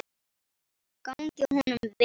Gangi honum vel.